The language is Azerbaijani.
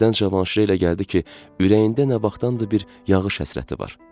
Birdən Cavanşirə elə gəldi ki, ürəyində nə vaxtdandır bir yağış həsrəti var.